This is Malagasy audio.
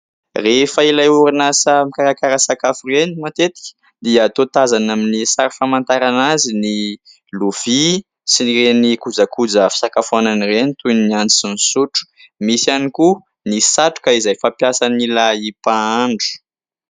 Rehefa ilay orinasa mikarakara sakafo ireny matetika dia toa tazana amin'ny sary famantarana azy ny lovia sy ireny kojakoja fisakafoanana ireny toy ny antsy sy ny sotro. Misy ihany koa ny satroka izay fampiasan'ilay mpahandro.